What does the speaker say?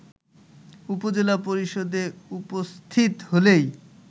উপজেলা পরিষদে উপস্থিত হলেই